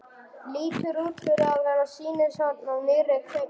Lítur út fyrir að vera sýnishorn úr nýrri kvikmynd.